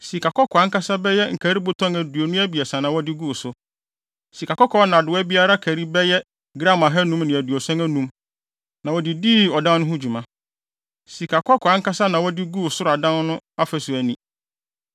Sikakɔkɔɔ nnadewa a biara kari bɛyɛ gram ahannum ne aduoson anum (575) na wɔde dii ɔdan no ho dwuma. Sikakɔkɔɔ ankasa na wɔde guu soro adan no afasu ani.